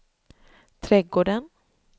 trädgården